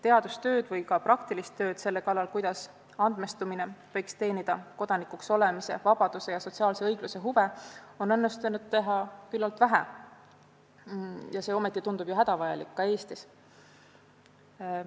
Teadustööd või ka praktilist tööd selle kallal, kuidas andmestumine võiks teenida kodanikuks olemise, vabaduse ja sotsiaalse õigluse huve, on õnnestunud teha küllalt vähe, aga see tundub hädavajalik ka Eestis.